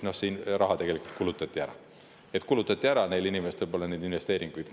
Raha tegelikult kulutati ära, neil inimestel pole praegu investeeringuid.